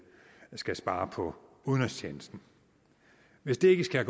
er skal spare på udenrigstjenesten hvis det ikke skal